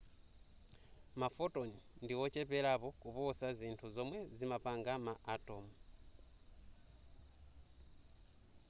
ma photon ndi ocheperapo kuposa zinthu zomwe zimapanga ma atom